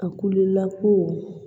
A kulela ko